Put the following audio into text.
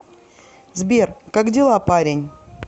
сбер как дела парень